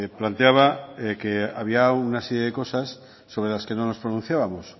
planteaba que había una serie de cosas sobre las que no nos pronunciábamos